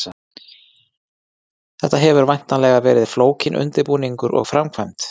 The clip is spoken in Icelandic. Þetta hefur væntanlega verið flókinn undirbúningur og framkvæmd?